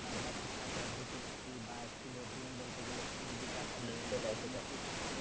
বা শিক্ষার পদ্ধতি বা বলতে গেলে school এ যে চারপাশে হোটেল আছে